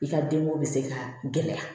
I ka denko bɛ se ka gɛlɛya